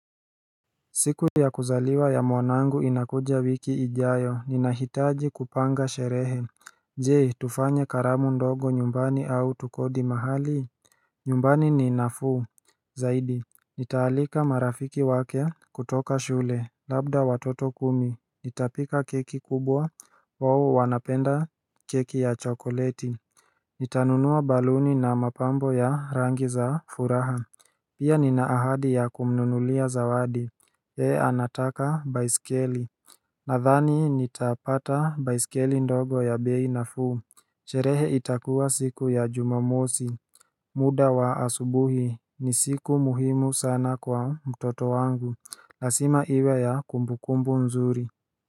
Siku ya kuzaliwa ya mwanangu inakuja wiki ijayo, ninahitaji kupanga sherehe Je, tufanye karamu ndogo nyumbani au tukodi mahali nyumbani ni nafuu, zaidi Nitaalika marafiki wake kutoka shule, labda watoto kumi, nitapika keki kubwa, oo wanapenda keki ya chokoleti Nitanunua baluni na mapambo ya rangi za furaha Pia ninaahadi ya kumnunulia zawadi yeye anataka baisikeli Nathani nitapata baisikeli ndogo ya bei nafuu sherehe itakuwa siku ya jumamosi muda wa asubuhi ni siku muhimu sana kwa mtoto wangu lazima iwe ya kumbukumbu mzuri.